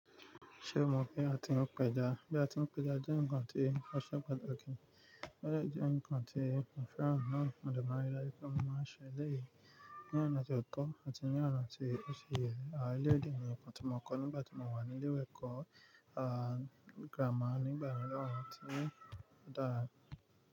Ṣé o mọ̀ bi a ti ń pẹja? Bí a ti ń pẹja jẹ́ ǹnkan tí o se pàtàkì, o de jẹ́ nǹkan tí mo fẹ́ràn náà. Mo de máa n rí daju pé mo máa ń ṣe elẹ̀yì ní ọ̀nà tí ó tọ́ àti ní ọ̀nà tí ó ṣi ye a eleyi de je ǹkan tí mo kọ́ nígbà tí mo wà ní ilé ẹ̀kọ́ àh grammar nígbà mìíràn tí ó dára.